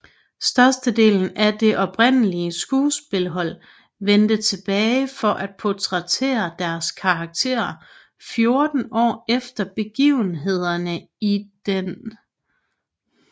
Størstedelen af det oprindelige skuespillerhold vendte tilbage for at portrættere deres karakterer 14 år efter begivenhederne i den oprindelige film